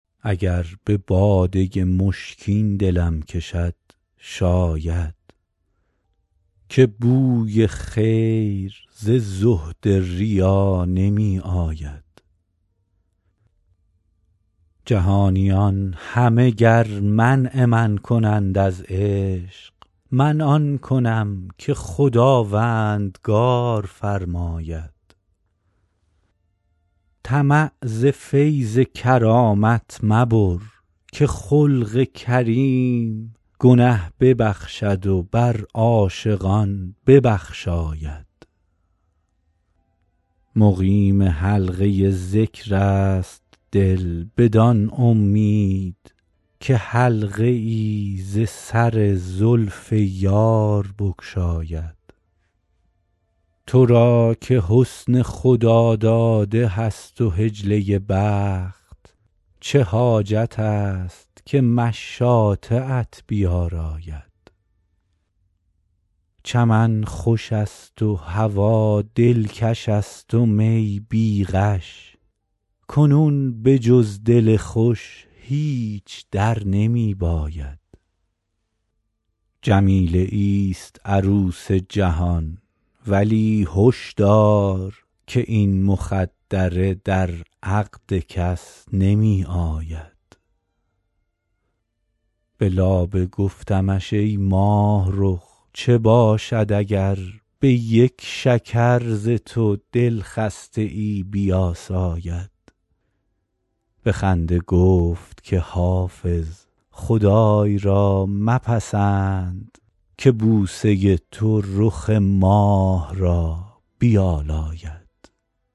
اگر به باده مشکین دلم کشد شاید که بوی خیر ز زهد ریا نمی آید جهانیان همه گر منع من کنند از عشق من آن کنم که خداوندگار فرماید طمع ز فیض کرامت مبر که خلق کریم گنه ببخشد و بر عاشقان ببخشاید مقیم حلقه ذکر است دل بدان امید که حلقه ای ز سر زلف یار بگشاید تو را که حسن خداداده هست و حجله بخت چه حاجت است که مشاطه ات بیاراید چمن خوش است و هوا دلکش است و می بی غش کنون به جز دل خوش هیچ در نمی باید جمیله ایست عروس جهان ولی هش دار که این مخدره در عقد کس نمی آید به لابه گفتمش ای ماهرخ چه باشد اگر به یک شکر ز تو دلخسته ای بیاساید به خنده گفت که حافظ خدای را مپسند که بوسه تو رخ ماه را بیالاید